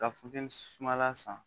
Ka funtɛni sumala san